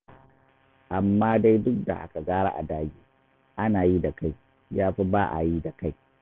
Amma dai duk da haka gara a dage, ana yi da kai, ya fi ba a yi da kai.